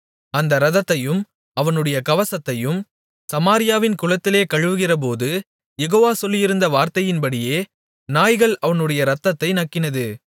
அந்த இரதத்தையும் அவனுடைய கவசத்தையும் சமாரியாவின் குளத்திலே கழுவுகிறபோது யெகோவா சொல்லியிருந்த வார்த்தையின்படியே நாய்கள் அவனுடைய இரத்தத்தை நக்கினது